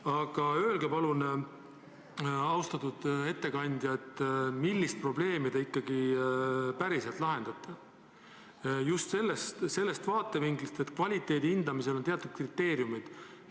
Aga öelge palun, austatud ettekandja, millist probleemi te ikkagi päriselt lahendate – just sellest vaatevinklist, et kvaliteedi hindamisel on teatud kriteeriumid.